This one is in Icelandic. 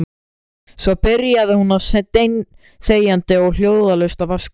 Svo byrjaði hún steinþegjandi og hljóðalaust að vaska upp.